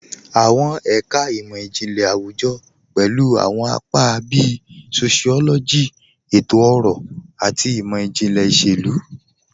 Awọn ẹka imọ-jinlẹ awujọ pẹlu awọn apa bíì sociology, ètò-ọrọ, àti imọ-jinlẹ iṣẹ̀lu.